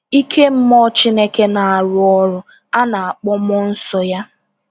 Ike mmụọ Chineke na-arụ ọrụ a na-akpọ mmụọ nsọ Ya.